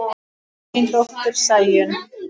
Þín dóttir, Sæunn.